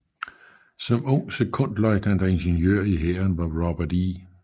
Som ung sekondløjtnant og ingeniør i hæren var Robert E